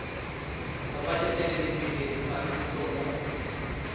tsa baeteledipele ba setso mo